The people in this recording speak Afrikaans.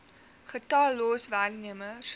getal los werknemers